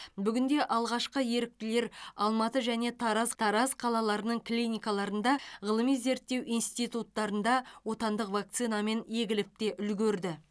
бүгінде алғашқы еріктілер алматы және тараз тараз қалаларының клиникаларында ғылыми зерттеу институттарында отандық вакцинамен егіліп те үлгерді